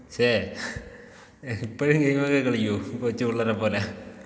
ഷേ. ഇപ്പഴും ഗെയിമൊക്കെ കളിക്കോ? കൊച്ചു പിള്ളേരെ പോലേ.